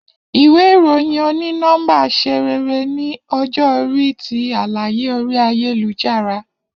Iwe iroyin oni nọmba ṣe rere ni ọjọ-ori ti alaye ori ayelujara.